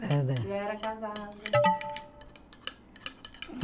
Já era casada.